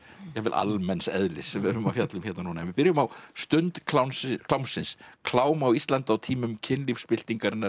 jafnvel almenns eðlis sem við erum að fjalla um núna en við byrjum á stund klámsins klám á Íslandi á tímum